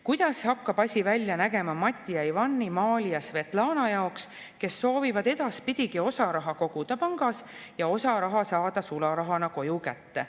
Kuidas hakkab asi välja nägema Mati ja Ivani, Maali ja Svetlana jaoks, kes soovivad edaspidigi osa raha koguda pangas ja osa raha saada sularahana koju kätte?